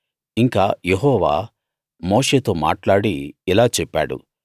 ఇంకా యెహోవా మోషేతో మాట్లాడి ఇలా చెప్పాడు